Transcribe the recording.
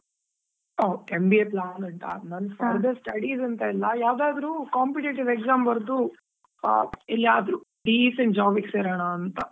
ಹೋ, MBA plan ಉಂಟಾ? ನಂದ್ further studies ಅಂತ ಇಲ್ಲಾ, ಯಾವದಾದ್ರು competitive exam ಬರ್ದು ಆ ಎಲ್ಲಿಯಾದ್ರೂ decent job ಗೆ ಸೆರೋಣಾ ಅಂತಾ.